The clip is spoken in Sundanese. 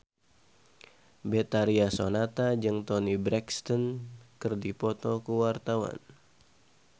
Betharia Sonata jeung Toni Brexton keur dipoto ku wartawan